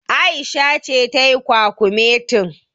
Aisha ce tayi kwakumetin.